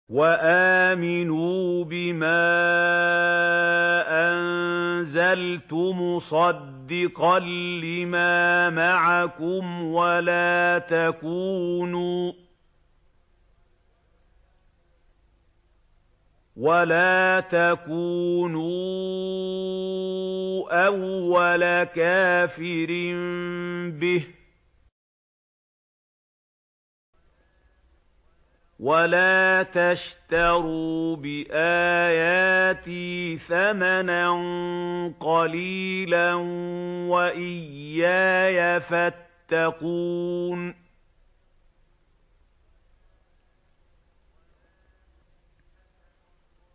وَآمِنُوا بِمَا أَنزَلْتُ مُصَدِّقًا لِّمَا مَعَكُمْ وَلَا تَكُونُوا أَوَّلَ كَافِرٍ بِهِ ۖ وَلَا تَشْتَرُوا بِآيَاتِي ثَمَنًا قَلِيلًا وَإِيَّايَ فَاتَّقُونِ